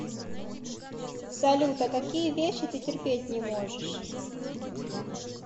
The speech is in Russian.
салют а какие вещи ты терпеть не можешь